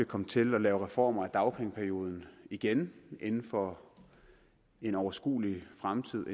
komme til at lave reformer af dagpengeperioden igen inden for en overskuelig fremtid